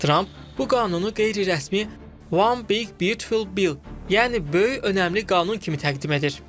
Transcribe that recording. Tramp bu qanunu qeyri-rəsmi One big beautiful bill, yəni Böyük önəmli qanun kimi təqdim edir.